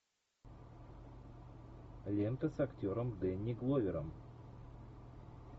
лента с актером дэнни гловером